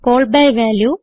call by value